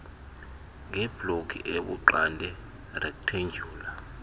ngebloki ebuxande rektendyula